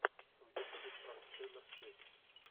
в ютубе пранк тейлор свифт